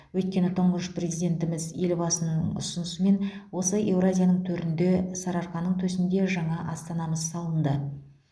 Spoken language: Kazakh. өйткені тұңғыш президентіміз елбасының ұсынысымен осы еуразияның төрінде сарыарқаның төсінде жаңа астанамыз салынды